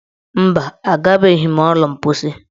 Mba, agabeghị m ụlọ mposi.